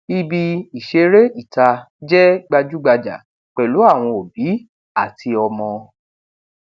ibi ìṣeré ìta jẹ gbajúgbajà pẹlú àwọn òbí àti ọmọ